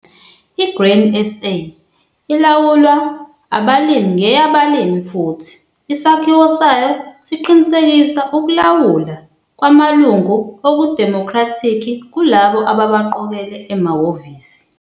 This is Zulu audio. I-Grain SA ilawulwa abalimi ngeyabalimi futhi isakhiwo sayo siqinisekisa ukulawula kwamalungu okudemokhrathikhi kulabo ababaqokele emahhovisi.